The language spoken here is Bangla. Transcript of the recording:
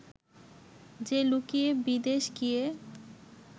যে লুকিয়ে বিদেশ গিয়ে